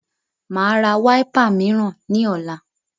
Màá ra wiper mìíràn ní ọ̀la